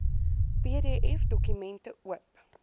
pdf dokumente oop